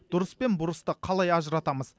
дұрыс пен бұрысты қалай ажыратамыз